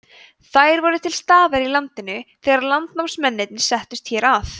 þær voru til staðar í landinu þegar landnámsmennirnir settust hér að